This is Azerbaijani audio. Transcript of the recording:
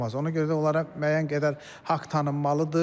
Ona görə də onlara müəyyən qədər haqq tanınmalıdır.